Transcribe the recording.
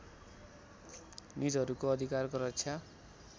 निजहरूको अधिकारको रक्षा